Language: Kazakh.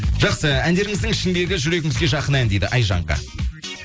жақсы әндеріңіздің ішіндегі жүрегіңізге жақын ән дейді айжанка